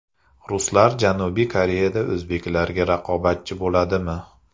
Ruslar Janubiy Koreyada o‘zbeklarga raqobatchi bo‘ladimi?